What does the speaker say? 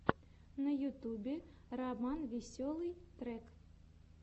на ютубе романвеселый трек